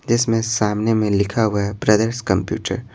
जिसमें सामने में लिखा हुआ है ब्रदर्स कंप्यूटर --